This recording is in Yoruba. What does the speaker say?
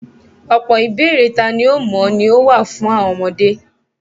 ọ̀pọ̀ ìbéèrè tani ó mọ̀ án ni ó wà fún àwọn ọmọdé.